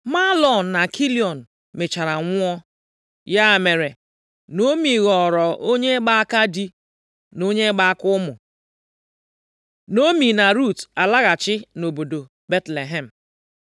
Mahlọn na Kilịọn mechara nwụọ. Ya mere, Naomi ghọrọ onye gba aka di, na onye gba aka ụmụ. Naomi na Rut alaghachi nʼobodo Betlehem